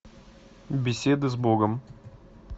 беседа с богом